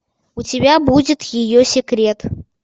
у тебя будет ее секрет